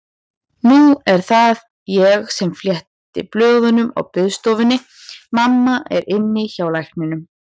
Nú er það ég sem fletti blöðum á biðstofunni, mamma er inni hjá lækninum.